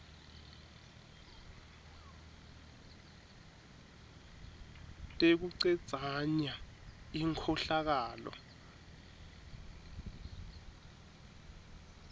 tekucedza nya inkhohlakalo